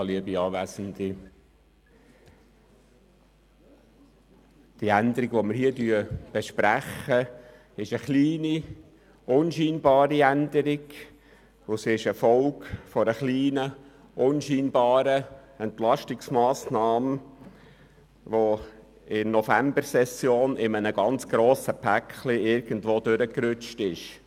Die Änderung, die wir hier besprechen, ist eine kleine, unscheinbare und die Folge einer kleinen, unscheinbaren Entlastungsmassnahme, die in der Novembersession in einem sehr grossen Paket irgendwo durchgerutscht ist.